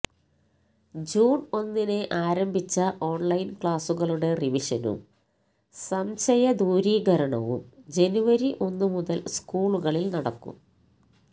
June ഒന്നിന് ആരംഭിച്ച online ക്ലാസുകളുടെ റിവിഷനും സംശയദൂരീകരണവും ജനുവരി ഒന്നുമുതൽ സ്കൂളുകളിൽ നടക്കും